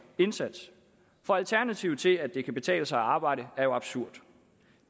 indsats alternativet til at det kan betale sig at arbejde er jo absurd